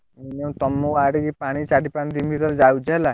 Minimum ତମ ଆଡକୁ ପାଣି ଚାରି ପାଞ୍ଚ ଦିନ ଭିତରେ ଯାଉଛି ହେଲା।